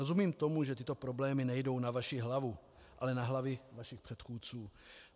Rozumím tomu, že tyto problémy nejdou na vaši hlavu, ale na hlavy vašich předchůdců.